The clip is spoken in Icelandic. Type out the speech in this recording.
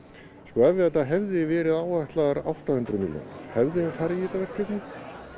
ef þetta hefði verið áætlað á átta hundruð milljónir hefðum við farið í þetta verkefni